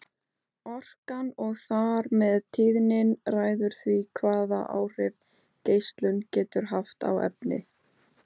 Orkan og þar með tíðnin ræður því hvaða áhrif geislunin getur haft á efni.